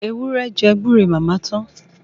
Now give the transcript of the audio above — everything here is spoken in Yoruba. Ewúrẹ́ jẹ gbúre màmá tán.